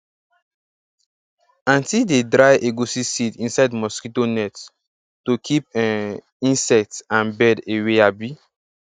aunti dey dry egusi seeds inside mosquito net to keep um insect and bird away abi